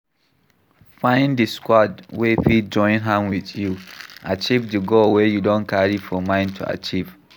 Find di squad wey fit join hand with you achive di goal wey you don carry for mind to achieve